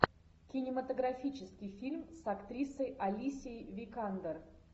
кинематографический фильм с актрисой алисией викандер